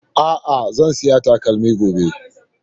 a'a zan siya takalmin gobe